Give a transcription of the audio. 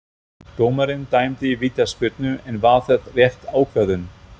Dómarinn dæmdi vítaspyrnu, en var það rétt ákvörðun?